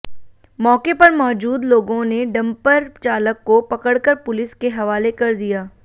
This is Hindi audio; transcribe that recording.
मौके पर मौजूद लोगों ने डंपर चालक को पकड़कर पुलिस के हवाले कर दिया